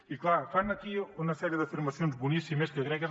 i clar fan aquí una sèrie d’afirmacions boníssimes que crec que és